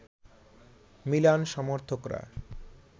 Milan সমর্থকরা